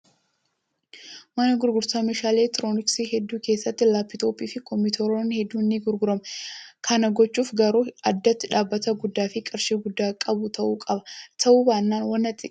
Mana gurgurtaa meeshaalee elektirooniksii hedduu keessatti laappitooppii fi kompiitaroonni hedduun ni gurguramu. Kana gochuuf garuu addatti dhaabbata guddaa fi qarshii guddaa qabu ta'uu qaba. Ta'uu baannaan waan xiqqaa irraa eegalu.